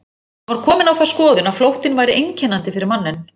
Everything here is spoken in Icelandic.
Hann var kominn á þá skoðun að flóttinn væri einkennandi fyrir manninn.